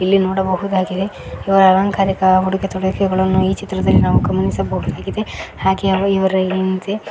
ಇಲ್ಲಿ ನೋಡಬಹುದಾಗಿದೆ ಹಲವು ಅಲಂಕಾರಿಕ ಉಡುಗೆ ತೊಡುಗೆಗಳನ್ನು ಈ ಚಿತ್ರದಲ್ಲಿ ನಾವು ಗಮನಿಸಬಹುದಾಗಿದೆ ಹಾಗೆ ಅವು --